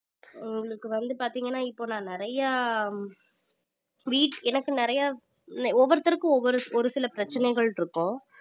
உங்களுக்கு வந்து பாத்தீங்கன்னா இப்போ நான் நிறைய எனக்கு நிறைய ஒவ்வொருத்தருக்கும் ஒவ்வொரு ஒரு சில பிரச்சனைகள் இருக்கும்